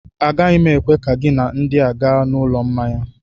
Agaghị m ekwe ka gị na ndị a gaa n'ụlọ mmanya